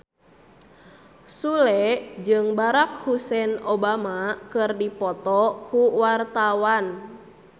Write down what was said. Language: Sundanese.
Sule jeung Barack Hussein Obama keur dipoto ku wartawan